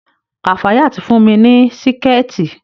Kafayat fún mi ní Síkẹ̀tí